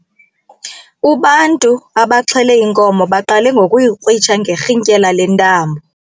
Ubantu abaxhele inkomo baqale ngokuyikrwitsha ngerhintyela lentambo.